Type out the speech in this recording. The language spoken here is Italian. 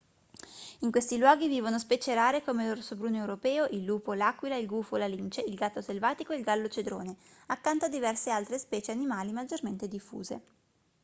in questi luoghi vivono specie rare come l'orso bruno europeo il lupo l'aquila il gufo la lince il gatto selvatico e il gallo cedrone accanto a diverse altre specie animali maggiormente diffuse